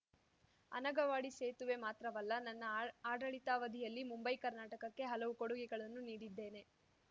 ಅನಗವಾಡಿ ಸೇತುವೆ ಮಾತ್ರವಲ್ಲ ನನ್ನ ಆಡಳಿತಾವಧಿಯಲ್ಲಿ ಮುಂಬೈಕರ್ನಾಟಕಕ್ಕೆ ಹಲವು ಕೊಡುಗೆಗಳನ್ನು ನೀಡಿದ್ದೇನೆ